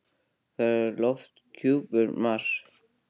Hvernig er lofthjúpur Mars?